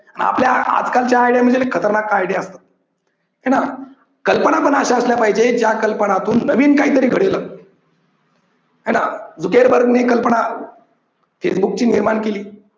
आपल्या आजकालच्या आयडिया म्हणजे खतरनाक आयडिया असतात. ठीक आहे ना. कल्पना पण अशा असल्या पाहिजे ज्या कल्पनातून नवीन काहीतरी घडेल अस हे ना ने कल्पना हे मुख्य निर्माण केली